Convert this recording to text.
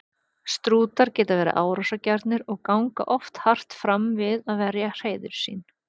Strútar geta verið árásargjarnir og ganga oft hart fram við að verja hreiður sín.